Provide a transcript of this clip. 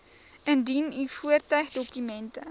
indien u voertuigdokumente